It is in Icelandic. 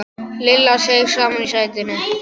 Lilla seig saman í sætinu.